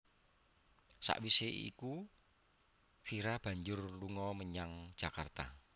Sawisé iku Vira banjur lunga menyang Jakarta